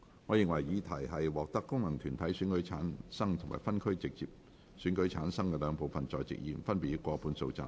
我認為議題獲得功能團體選舉及分區直選產生的兩部分在席議員，分別過半數贊成。